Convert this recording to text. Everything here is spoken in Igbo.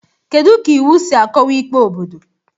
Kedu ka iwu si akọwa ikpe obodo?